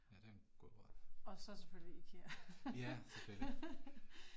Ja det en god råd. Ja, selvfølgelig